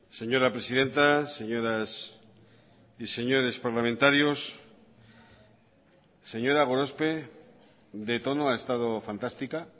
señora presidenta señoras y señores parlamentarios señora gorospe de tono ha estado fantástica